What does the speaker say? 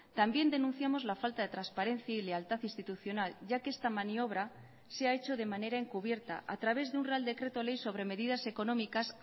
también denunciamos la falta de transparencia y lealtad institucional ya que esta maniobra se ha hecho de manera encubierta a través de un real decreto ley sobre medidas económicas